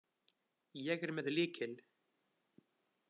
Ég er með lykil.